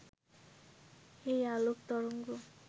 এই আলোক তরঙ্গ